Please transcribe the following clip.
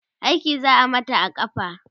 aiki za'a Mata a kafa